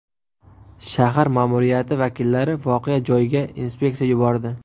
Shahar ma’muriyati vakillari voqea joyiga inspeksiya yubordi.